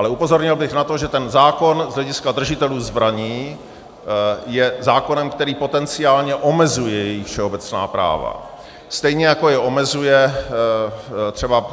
Ale upozornil bych na to, že ten zákon z hlediska držitelů zbraní je zákonem, který potenciálně omezuje jejich všeobecná práva, stejně jako je omezuje třeba